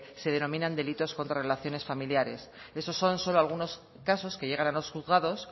se denominan delitos contra relaciones familiares esos son solo algunos casos que llegan a los juzgados